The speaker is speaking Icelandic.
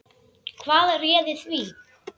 Hvað réði því?